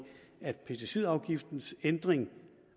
at pesticidafgiftens ændring